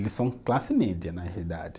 Eles são classe média, na realidade.